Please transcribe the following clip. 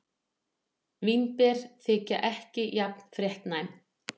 Vínber þykja ekki jafn fréttnæm.